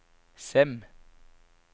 Sem